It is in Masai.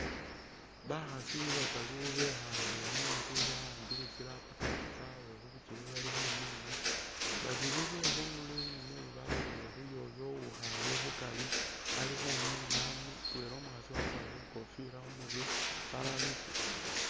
Bakhaasi bataru bekhale munzu ba'ambile tsi laptop tsyabwe khubikyele bali khumina ,babili be khundulo eyi ni neyi balolelele khuyoyo uwikhale khukari ali khumina ,mutwela umukhaasi wakwarire ikofila khumurwe, balala litsune